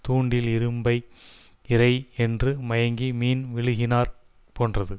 தூண்டில் இரும்பை இரை என்று மயங்கி மீன் விழுகினாற் போன்றது